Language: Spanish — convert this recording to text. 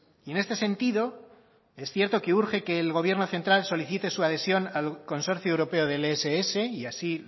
y en este sentido es cierto que urge que el gobierno central solicite su adhesión al consorcio europeo del ess y así